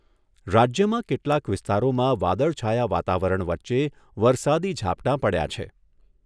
રાજ્યમાં કેટલાંક વિસ્તારોમાં વાદળછાયા વાતાવરણ વચ્ચે વરસાદી ઝાપટાં પડ્યાં છે.